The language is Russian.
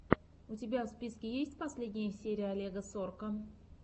у тебя в списке есть последняя серия олега сорка